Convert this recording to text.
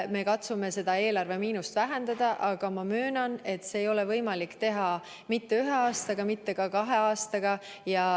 Me katsume seda eelarve miinust vähendada, aga ma möönan, et seda ei ole võimalik teha ühe aastaga, mitte ka kahe aastaga.